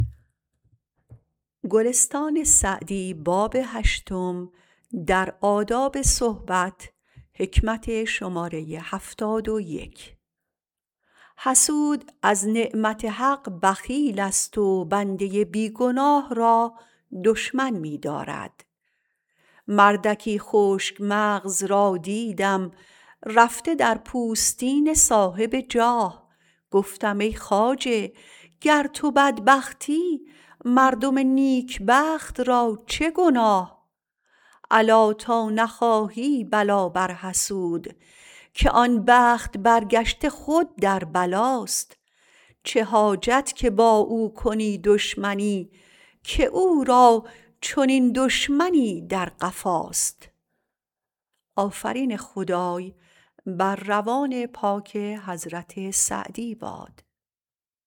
حسود از نعمت حق بخیل است و بنده بی گناه را دشمن می دارد مردکی خشک مغز را دیدم رفته در پوستین صاحب جاه گفتم ای خواجه گر تو بدبختی مردم نیکبخت را چه گناه الا تا نخواهی بلا بر حسود که آن بخت برگشته خود در بلاست چه حاجت که با او کنی دشمنی که او را چنین دشمنی در قفاست